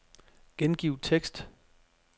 Gengiv tekst.